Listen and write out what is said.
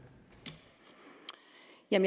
ind